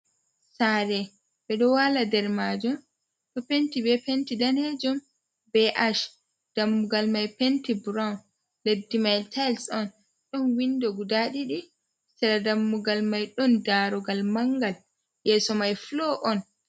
Sare ɓeɗo waala nder majon ɗo penti be penti danejum be ash dammugal mai penti brown leddi mai tais on ɗon windo guda ɗiɗi cera dammugal mai ɗon darogal mangal yeso mai flo on.